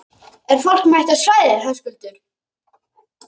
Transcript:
Er fólk mætt á svæðið, Höskuldur?